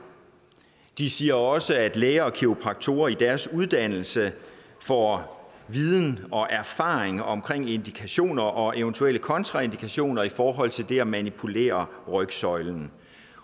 de siger også at læger og kiropraktorer i deres uddannelse får viden og erfaring omkring indikationer og eventuelle kontraindikationer i forhold til det at manipulere rygsøjlen